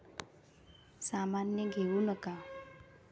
सामान्य घेऊ नका.